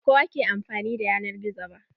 Ba kowa ke amfani da yanar gizo ba.